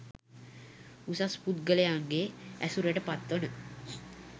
උසස් පුද්ගලයින්ගේ ඇසුරට පත් වන